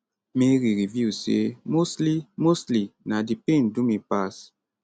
mary reveal say mostly mostly na di pain do me pass